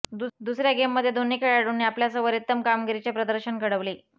दुसर्या गेममध्ये दोन्ही खेळाडूंनी आपल्या सवरेत्तम कामगिरीचे प्रदर्शन घडवले